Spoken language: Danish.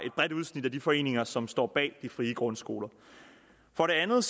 et bredt udsnit af de foreninger som står bag de frie grundskoler for det andet